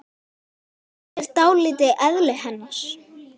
Þetta lýsir dálítið eðli hennar.